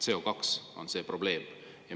CO2 on see probleem.